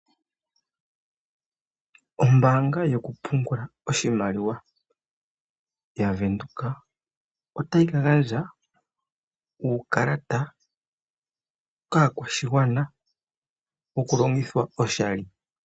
Ombanga yoku pungulila oshimaliwa yaVenduka otayi ka gandja uukalata kaakwashigwana woku longithwa oshali.